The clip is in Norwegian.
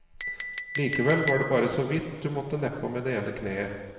Likevel var det bare så vidt du måtte nedpå med det ene kneet.